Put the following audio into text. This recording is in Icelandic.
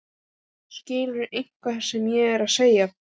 Skilurðu ekki hvað ég er að segja?